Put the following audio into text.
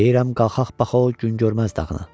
Deyirəm qalxaq baxaq o gün görməz dağına.